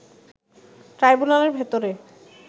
ট্রাইবুনালের ভেতরে